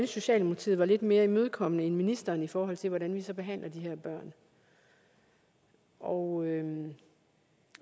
socialdemokratiet var lidt mere imødekommende end ministeren i forhold til hvordan vi så behandler de her børn og